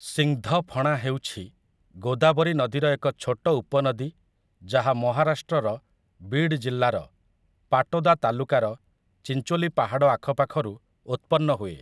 ସିଂଦ୍ଧଫଣା ହେଉଛି ଗୋଦାବରୀ ନଦୀର ଏକ ଛୋଟ ଉପନଦୀ ଯାହା ମହାରାଷ୍ଟ୍ରର ବିଡ୍ ଜିଲ୍ଲାର ପାଟୋଦା ତାଲୁକାର ଚିଞ୍ଚୋଲି ପାହାଡ଼ ଆଖପାଖରୁ ଉତ୍ପନ୍ନ ହୁଏ ।